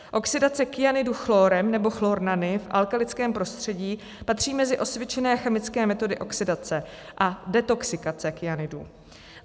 Oxidace kyanidu chlórem nebo chlornany v alkalickém prostředí patří mezi osvědčené chemické metody oxidace a detoxikace kyanidů.